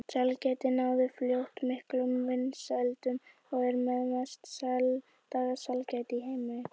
Sælgætið náði fljótt miklum vinsældum og er með mest selda sælgæti í heimi.